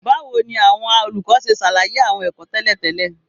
Báwo ni àwọn olùkọ́ ṣe ṣàlàyé àwọn ẹ̀kọ́ tẹ́lẹ̀ tẹ́lẹ̀?